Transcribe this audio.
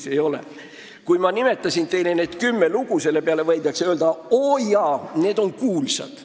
Selle peale, et ma nimetasin need kümme lugu, võidakse öelda, et oojaa, need on ju kuulsad.